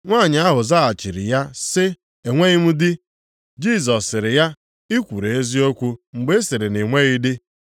Nwanyị ahụ zaghachiri ya sị, “Enweghị m dị.” Jisọs sịrị ya, “I kwuru eziokwu mgbe ị sịrị na i nweghị di.